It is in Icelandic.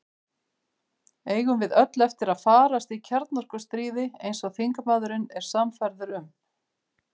Eigum við öll eftir að farast í kjarnorkustríði, eins og þingmaðurinn er sannfærður um?